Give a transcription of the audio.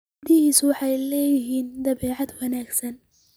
Gabadhaasi waxay leedahay dabeecad wanaagsan